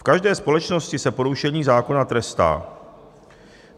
V každé společnosti se porušení zákona trestá.